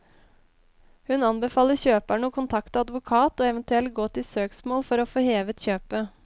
Hun anbefaler kjøperne å kontakte advokat og eventuelt gå til søksmål for å få hevet kjøpet.